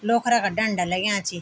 लोखरा का डंडा लग्याँ छी।